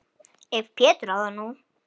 Ef Pétur á þetta nú.